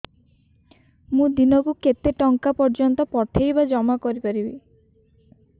ମୁ ଦିନକୁ କେତେ ଟଙ୍କା ପର୍ଯ୍ୟନ୍ତ ପଠେଇ ବା ଜମା କରି ପାରିବି